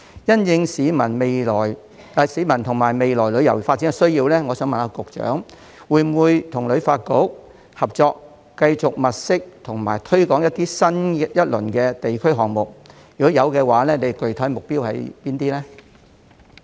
因應市民和未來旅遊發展的需要，我想問局長會否與旅發局合作，繼續物色和推廣新一輪的地區項目；如果會，具體目標是甚麼呢？